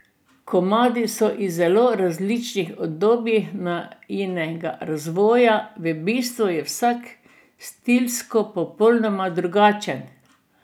Komadi so iz zelo različnih obdobij najinega razvoja, v bistvu je vsak stilsko popolnoma drugačen.